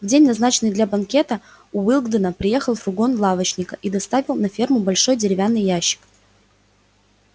в день назначенный для банкета уиллингдона приехал фургон лавочника и доставил на ферму большой деревянный ящик